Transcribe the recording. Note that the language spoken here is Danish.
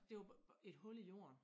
Det var et hul i jorden